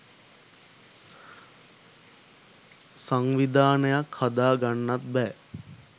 සවිධානයක් හදා ගන්නත් බෑ